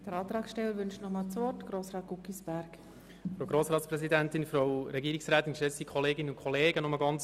Der Antragsteller wünscht nochmals das Wort.